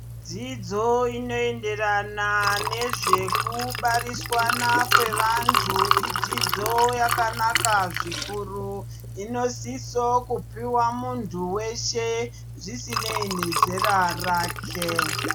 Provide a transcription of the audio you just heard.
Dzidzo inoenderana nezvekubariswana kwevantu, idzidzo yakanaka zvikuru, inosiso kupiwa muntu weshe zvisinei nezera rake.